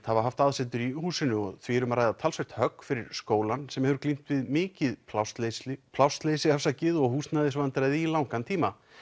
hafa haft aðsetur í húsinu og því er um að ræða talsvert högg fyrir skólann sem hefur glímt við mikið plássleysi plássleysi og húsnæðisvandræði í langan tíma